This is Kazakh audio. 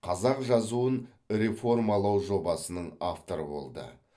қазақ жазуын реформалау жобасының авторы болды